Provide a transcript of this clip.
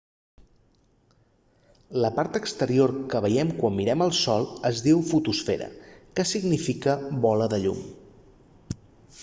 la part exterior que veiem quan mirem el sol es diu fotosfera que significa bola de llum